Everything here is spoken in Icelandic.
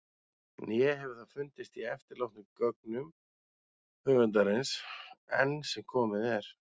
Né hefur það fundist í eftirlátnum gögnum höfundarins- enn sem komið er.